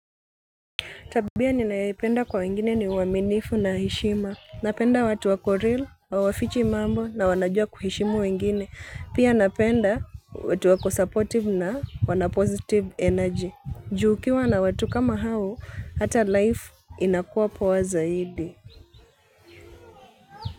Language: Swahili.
Tabia ninayoipenda kwa wengine ni uaminifu na heshima. Napenda watu wako real, hawafichi mambo na wanajua kuheshimu wengine. Pia napenda watu wako supportive na wana positive energy. Juu ukiwa na watu kama hao hata life inakuwa poa zaidi.